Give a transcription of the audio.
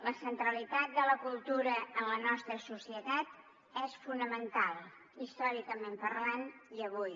la centralitat de la cultura en la nostra societat és fonamental històricament parlant i avui